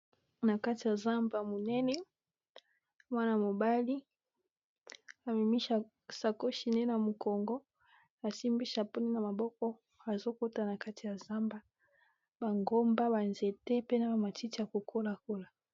Na kati ya zamba monene mwana -mobali amemi sakoshi ne na mokongo asimbi chapeau naye na maboko azokota na kati ya zamba ba ngomba ba nzete pe na ba matiti ya ko kola kola.